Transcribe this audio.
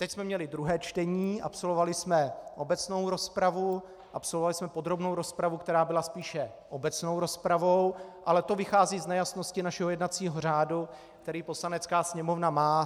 Teď jsme měli druhé čtení, absolvovali jsme obecnou rozpravu, absolvovali jsme podrobnou rozpravu, která byla spíše obecnou rozpravou, ale to vychází z nejasnosti našeho jednacího řádu, který Poslanecká sněmovna má.